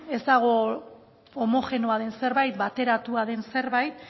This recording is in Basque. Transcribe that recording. ez dago homogeneoa den zerbait bateratua den zerbait